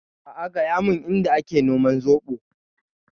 A'a gaya mun Inda a ke noman zoɓo.